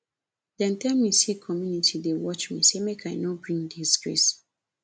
dem tell me sey community dey watch me sey make i no bring disgrace